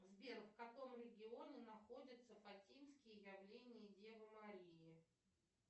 сбер в каком регионе находятся фатимские явления девы марии